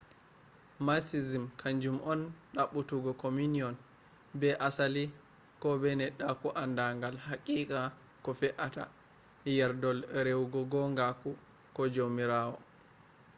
mysticism kanju on ɗaɓɓutugo communion be asali ko be neɗɗaku andagal haqiqa ko fe’atta yerdol rewugo gongaku ko jomirawo